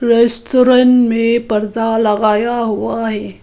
Restaurant में परदा लगाया हुआ है।